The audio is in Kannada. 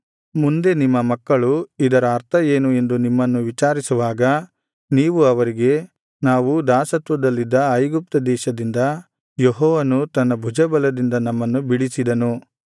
ಮುಂದೆ ನಿಮ್ಮ ಮಕ್ಕಳು ಇದರ ಅರ್ಥ ಏನು ಎಂದು ನಿಮ್ಮನ್ನು ವಿಚಾರಿಸುವಾಗ ನೀವು ಅವರಿಗೆ ನಾವು ದಾಸತ್ವದಲ್ಲಿದ್ದ ಐಗುಪ್ತ ದೇಶದಿಂದ ಯೆಹೋವನು ತನ್ನ ಭುಜಬಲದಿಂದ ನಮ್ಮನ್ನು ಬಿಡಿಸಿದನು